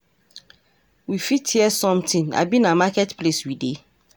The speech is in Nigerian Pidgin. We fit hear something, abi na market place we dey?